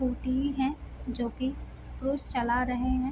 Scooty है जो की पुरूष चला रहे है।